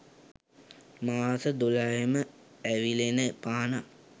මාස දොළහෙම ඇවිලෙන පහනක්.